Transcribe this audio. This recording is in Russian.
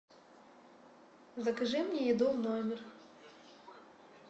закажи мне еду в номер